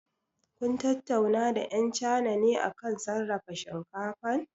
Kun tattauna da ƴau China ne akan sarrafa shinkafan?